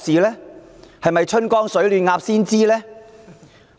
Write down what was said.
難道"春江水暖鴨先知"？